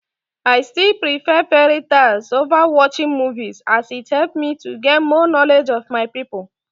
I still prefer fairy tales over watching movies, as it helps me to gain more knowledge of my people.